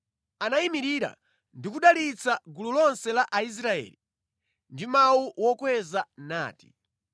Anayimirira ndi kudalitsa gulu lonse la Aisraeli ndi mawu okweza, nati: